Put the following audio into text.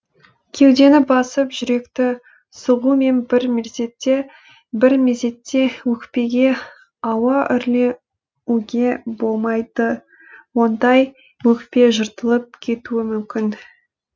кеудені басып жүректі сығумен бір мезетте өкпеге ауа үрлеуге болмайды ондай өкпе жыртылып кетуі мүмкін